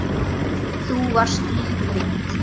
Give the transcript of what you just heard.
Þú varst líf mitt.